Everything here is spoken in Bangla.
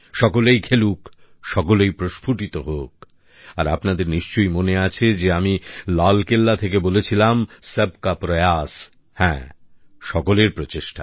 সকলেই খেলুক সকলেই প্রস্ফুটিত হোক আর আপনাদের নিশ্চয়ই মনে আছে যে আমি লালকেল্লা থেকে বলেছিলাম সবকা প্রয়াস হ্যাঁ সকলের প্রচেষ্টা